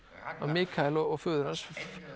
Mikaels og föður hans